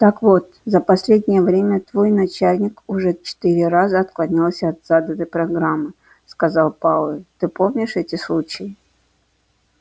так вот за последнее время твой начальник уже четыре раза отклонялся от заданной программы сказал пауэлл ты помнишь эти случаи